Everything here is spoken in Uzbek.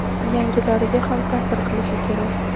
yangilariga ham ta’sir qilishi kerak.